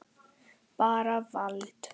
Bara vald.